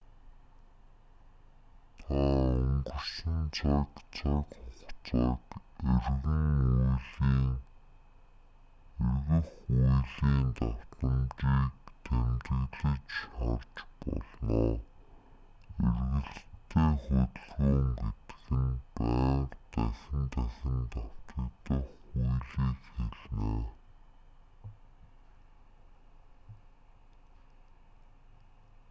та өнгөрсөн цаг цаг хугацааг эргэх үйлийн датамжийг тэмдэглэж харж болно эргэлттэй хөдөлгөөн гэдэг нь байнга дахин дахин давтагдах үйлийг хэлнэ